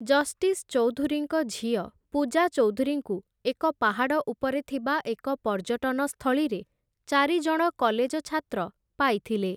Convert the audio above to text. Justice ଚୌଧୁରୀଙ୍କ ଝିଅ ପୂଜା ଚୌଧୁରୀଙ୍କୁ ଏକ ପାହାଡ଼ ଉପରେ ଥିବା ଏକ ପର୍ଯ୍ୟଟନ ସ୍ଥଳୀରେ, ଚାରି ଜଣ କଲେଜ ଛାତ୍ର ପାଇଥିଲେ ।